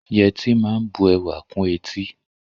Yẹtí máa ń bu ẹwà kún etí